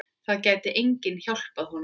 Það gæti enginn hjálpað honum.